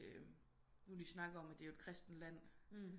Nu de snakker om det er et kristent land